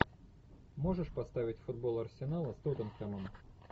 можешь поставить футбол арсенала с тоттенхэмом